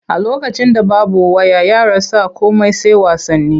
A lokacin da babu waya yara sa komai sai wasanni.